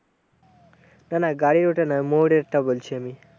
না না গাড়ির ওটা না, ময়ূরেরটা বলছি আমি।